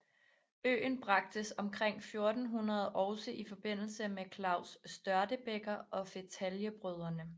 Øen bragtes omkring 1400 også i forbindelse med Klaus Størtebeker og fetaljebrødrene